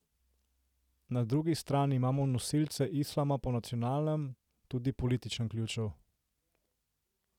Na drugi strani imamo nosilce islama po nacionalnem, tudi političnem ključu.